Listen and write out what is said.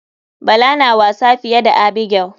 Bala na wasa fiye da abigail.